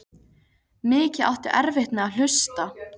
Mikið áttu erfitt með að hlusta.